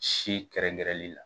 Si kɛrɛnkɛrɛnli la